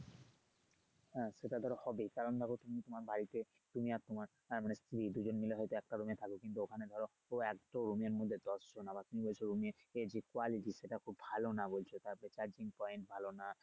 হ্যা সেটা ধরো হবেই কারন দেখো তোমার বাড়িতে তুমি আর তোমার আহ মানে স্ত্রী দুজন মিলে হয়তো একটা room এ থাকো কিন্তু ওখানে ধরো একটা রুমের মধ্যে দশজন আবার কি বলছো room এ এই যে quality সেটা খুব ভালো না বলছো তাহলে তারপরে cahrging point ভালো না